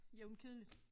Jævnt kedeligt